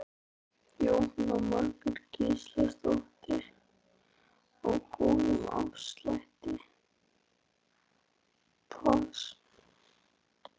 Jóhanna Margrét Gísladóttir: Á góðum afslætti?